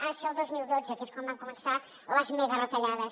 ha de ser el dos mil dotze que és quan van començar les megaretallades